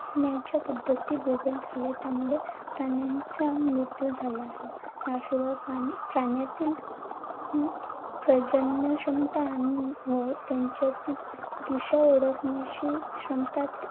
मिळवण्याच्या पद्धती बदल झाल्या त्यामुळे प्राण्यांचा मृत्यू झाला आहे. याशिवाय प्राण्यातील अं प्रजनन क्षमता आणि व त्यांच्यातील दिशा ओळखण्याची क्षमता